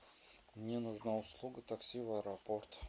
мне нужна услуга такси в аэропорт